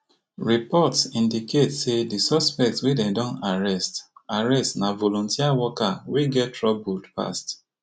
reports indicate say di suspect wey dem don arrest arrest na volunteer worker wey get troubled past